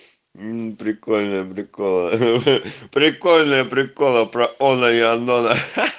прикольные приколы прикольные приколы про анну и алена